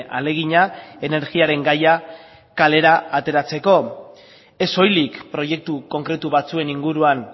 ahalegina energiaren gaia kalera ateratzeko ez soilik proiektu konkretu batzuen inguruan